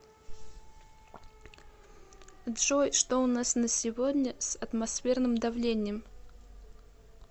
джой что у нас на сегодня с атмосферным давлением